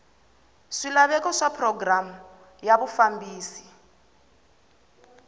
swilaveko swa programu ya vufambisi